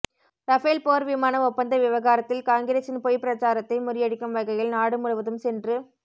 Rafale போர் விமான ஒப்பந்த விவகாரத்தில் காங்கிரஸின் பொய் பிரச்சாரத்தை முறியடிக்கும் வகையில் நாடு முழுவதும் சென்று